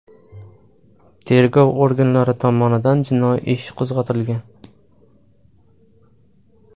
Tergov organlari tomonidan jinoiy ish qo‘zg‘atilgan.